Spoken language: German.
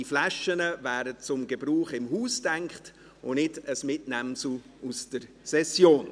Diese Flaschen sind zum Gebrauch im Haus gedacht und nicht als Mitnehmsel aus der Session.